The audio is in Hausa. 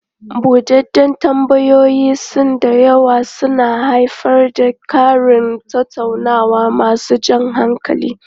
Buɗeɗden tambayoyin sau da yawa suna haifar da ƙarin tattaunawa masu jan hankali.